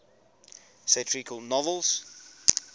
satirical novels